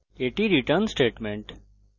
এবং এটি আমাদের return statement